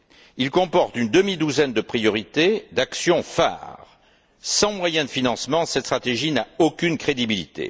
Il comporte une demi douzaine de priorités d'actions phares. Sans moyen de financement, cette stratégie n'a aucune crédibilité.